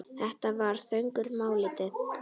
Þetta var þögul máltíð.